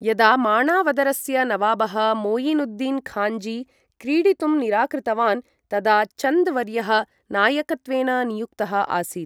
यदा माणावदरस्य नवाबः मोयिनुद्दीन् खाञ्जी क्रीडितुं निराकृतवान्, तदा चन्द् वर्यः नायकत्वेन नियुक्तः आसीत्।